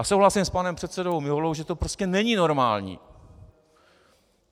A souhlasím s panem předsedou Miholou, že to prostě není normální.